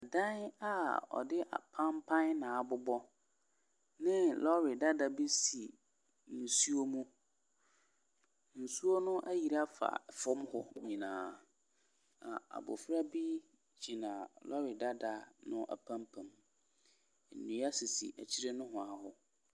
Dan a wɔde apanpan na abobɔ. Lɔre dada bi si nsuo mu. Nsuo no ayiri afa fam hɔ nyinaa. Na abofra bi gyina lɔre dada no apempem. Nnua sisi akyire nohoaa hɔ.